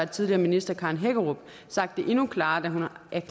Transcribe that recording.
tidligere minister karen hækkerup sagt det endnu klarere da